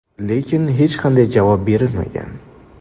Lekin hech qanday javob berilmagan.